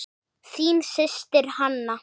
Þín systir, Hanna.